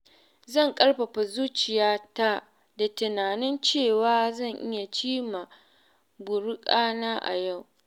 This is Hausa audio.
Zan ƙarfafa zuciyata da tunanin cewa zan iya cimma burukana na yau.